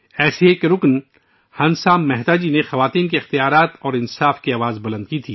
ایسی ہی ایک رکن ہنسا مہتا جی تھیں، جنہوں نے خواتین کے حقوق اور انصاف کے لیے آواز بلند کی